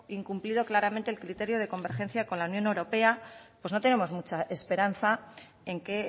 incumplido claramente el criterio de convergencia con la unión europea pues no tenemos mucha esperanza en que